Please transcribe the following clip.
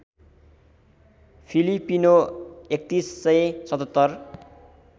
Filipino ३१०७७